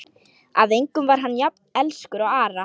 Að engum var hann jafn elskur og Ara.